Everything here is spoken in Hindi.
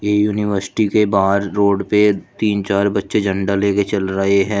यूनिवर्सिटी के बाहर रोड पे तीन चार बच्चे झंडा लेके चल रहे हैं।